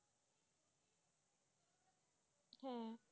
হ্যাঁ